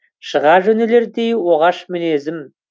шыға жөнелердей оғаш мінезім